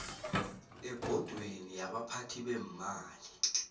ebhodweni yabaphathi beemali